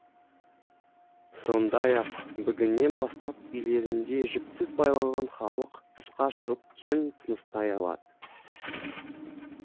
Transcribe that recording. сондай ақ бүгіннен бастап үйлерінде жіпсіз байланған халық тысқа шығып кең тыныстай алады